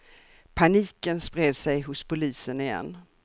Paniken spred sig hos polisen igen.